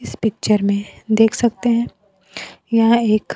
इस पिक्चर में देख सकते हैं यहां एक--